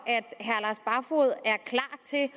til at